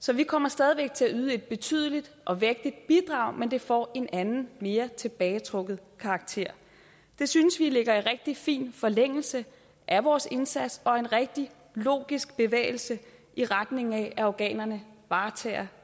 så vi kommer stadig væk til at yde et betydeligt og vægtigt bidrag men det får en anden mere tilbagetrukket karakter det synes vi ligger i rigtig fin forlængelse af vores indsats og en rigtig logisk bevægelse i retning af at afghanerne varetager